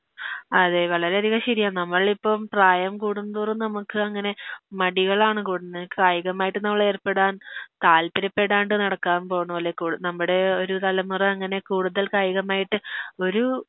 അതെ വളരെയധികം ശെരിയാ നമ്മളിപ്പം പ്രായം കൂടുന്തോറും നമുക്കങ്ങനെ മടികളാണ് കൂടുന്നത് കായികമായിട്ട് നമ്മളേർപ്പെടാൻ താൽപ്പര്യപ്പെടാണ്ട് നടക്കാൻ പോണോലൊക്കൊള്ളു നമ്മഡി ഒരു തലമുറ അങ്ങനെ കൂടുതൽ കായികമായിട്ട് ഒരു